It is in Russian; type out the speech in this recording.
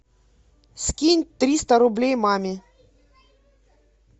скинь триста рублей маме